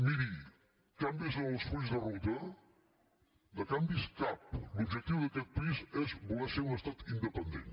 miri canvis en els fulls de ruta de canvis cap l’objectiu d’aquest país és voler ser un estat independent